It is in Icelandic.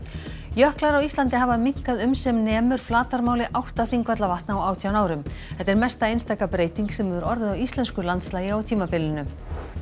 jöklar á Íslandi hafa minnkað um sem nemur flatarmáli átta Þingvallavatna á átján árum þetta er mesta einstaka breyting sem hefur orðið á íslensku landslagi á tímabilinu